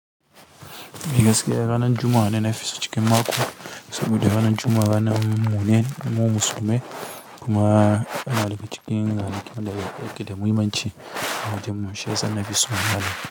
Ni gaskiya ranar Juma'a ne nafiso cikin mako saboda ranar Juma'a ranar mune mu musulmai kuma ana riƙe cikin ranakun da ake da muhimmanci wajen mu shiyasa nafison ranan.